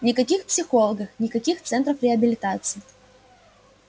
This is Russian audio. никаких психологов никаких центров реабилитации